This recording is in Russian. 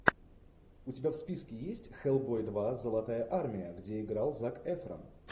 у тебя в списке есть хеллбой два золотая армия где играл зак эфрон